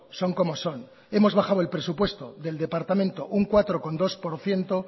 son como son hemos bajado el presupuesto del departamento un cuatro coma dos por ciento